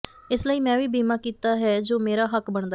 ਇਸ ਲਈ ਮੈਂ ਵੀ ਬੀਮਾ ਕੀਤਾ ਹੈ ਜੋ ਮੇਰਾ ਹੱਕ ਬਣਦਾ ਹੈ